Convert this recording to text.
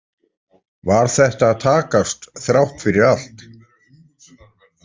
Var þetta að takast, þrátt fyrir allt?